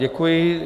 Děkuji.